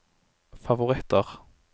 favoritter